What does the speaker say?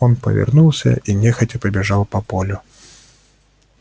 он повернулся и нехотя побежал по полю